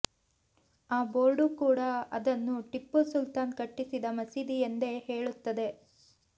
ಆ ಬೋರ್ಡು ಕೂಡಾ ಅದನ್ನು ಟಿಪ್ಪು ಸುಲ್ತಾನ್ ಕಟ್ಟಿಸಿದ ಮಸೀದಿ ಎಂದೇ ಹೇಳುತ್ತದೆ